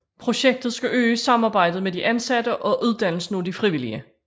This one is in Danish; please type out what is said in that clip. Projektet skal øge samarbejdet med de ansatte og uddannelsen af de frivillige